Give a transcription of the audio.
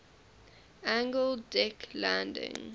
angled deck landing